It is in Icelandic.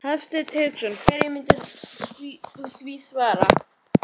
Hafsteinn Hauksson: Hverju myndirðu svara því?